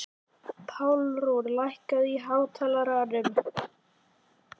Pálrún, lækkaðu í hátalaranum.